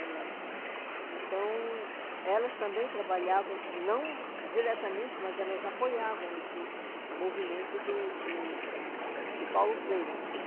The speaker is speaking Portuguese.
né, lá no, então, elas também trabalhavam, não diretamente, mas elas apoiavam esse movimento do do do do Paulo Freire.